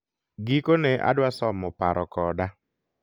gikone adwa somo paro koda